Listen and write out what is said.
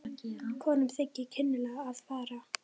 Konum þykir kynlega að farið.